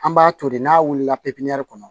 An b'a to de n'a wulila kɔnɔ